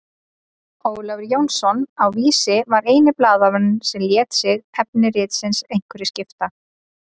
Ólafur Jónsson á Vísi var eini blaðamaðurinn sem lét sig efni ritsins einhverju skipta.